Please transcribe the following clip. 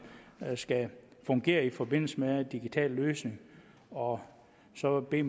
skal fungere i forbindelse med en digital løsning og så vil